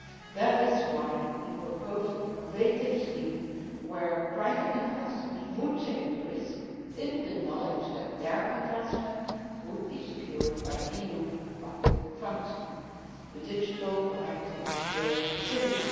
That is why we proposed an innovative scheme whereby private investors would take the risk in the knowledge that their investment would be secured by EU public funds the digital Connecting Europe Facility.